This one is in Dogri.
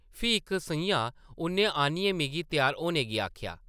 फ्ही इक सʼञां उʼन्नै आनियै मिगी त्यार होने गी आखेआ ।